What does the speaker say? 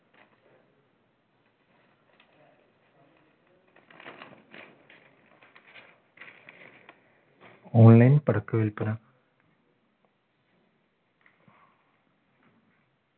online വില്പന